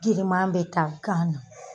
Giriman be taa kan na.